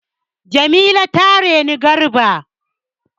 Jamila ta reni Garba.